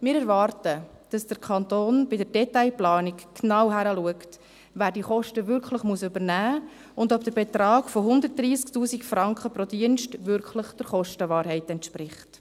Wir erwarten, dass der Kanton bei der Detailplanung genau hinschaut, wer diese Kosten wirklich übernehmen muss und ob der Betrag von 130 000 Franken pro Dienst wirklich der Kostenwahrheit entspricht.